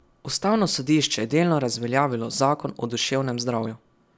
Ustavno sodišče je delno razveljavilo zakon o duševnem zdravju.